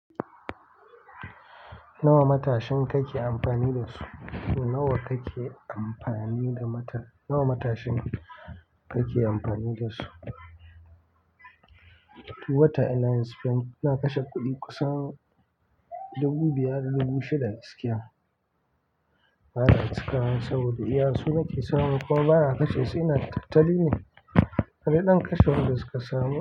Nawa matashin kake amfani da su? Nawa kake amfani da mata-- nawa matashin kake amfani da su? Duk wata ina yin spend, ina kashe kuɗi kusan dubu biyar da dubu shida da gaskiya. Ba za su kai ba saboda iya su nake samu kuma ba na kashe su, ina tattali ne. Ka je zan kashe wanda suka samu.